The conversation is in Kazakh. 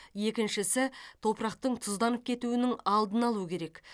екіншісі топырақтың тұзданып кетуінің алдын алу керек